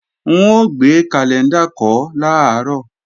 N ó gbé kàlẹ́ńdà kọ́ làárọ̀